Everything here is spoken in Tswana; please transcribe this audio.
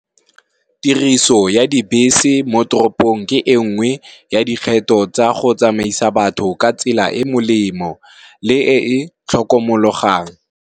Tiriso ya dibese mo toropong ke engwe ya dikgetho tsa go tsamaisa batho ka tsela e e molemo le e tlhokomologogang.